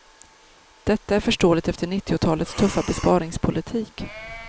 Detta är förståeligt efter nittiotalets tuffa besparingspolitik.